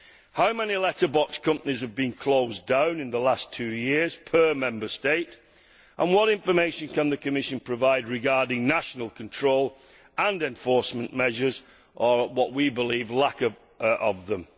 How many letterbox companies have been closed down in the last two years per Member State, and what information can the Commission provide regarding national control and enforcement measures, or what we believe to be a lack of them?